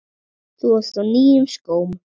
Þú varst á nýjum skóm.